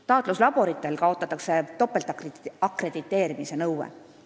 Taatluslaboritel kaotatakse topeltakrediteerimise nõue.